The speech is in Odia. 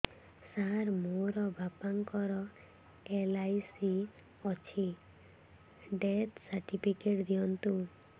ସାର ମୋର ବାପା ଙ୍କର ଏଲ.ଆଇ.ସି ଅଛି ଡେଥ ସର୍ଟିଫିକେଟ ଦିଅନ୍ତୁ